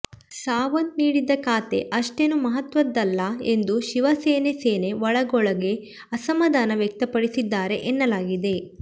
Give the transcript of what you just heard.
ಸಾವಂತ್ ನೀಡಿದ್ದ ಖಾತೆ ಅಷ್ಟೇನೂ ಮಹತ್ವದದ್ದಲ್ಲ ಎಂದು ಶಿವಸೇನೆ ಸೇನೆ ಒಳಗೊಳಗೇ ಅಸಮಾಧಾನ ವ್ಯಕ್ತಪಡಿಸಿದ್ದಾರೆ ಎನ್ನಲಾಗಿದೆ